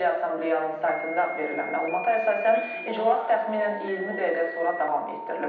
Milli Assambleyanın saytında verilən məlumata əsasən iclas təxminən 20 dəqiqə sonra davam etdirilib.